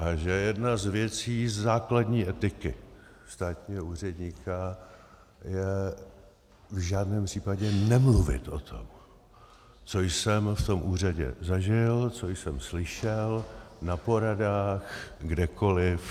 A že jedna z věcí základní etiky státního úředníka je v žádném případě nemluvit o tom, co jsem v tom úřadě zažil, co jsem slyšel na poradách, kdekoliv.